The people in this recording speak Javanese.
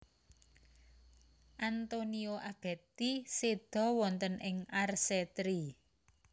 Antonio Abetti seda wonten ing Arcetri